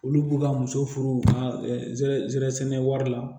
Olu b'u ka muso furu u ka zɛɛrɛ sɛnɛ wari la